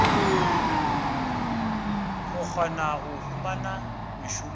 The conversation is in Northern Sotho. go kgona go humana mešomo